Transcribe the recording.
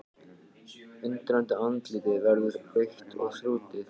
Undrandi andlitið verður rautt og þrútið.